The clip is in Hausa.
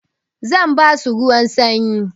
Zan basu ruwan sanyi.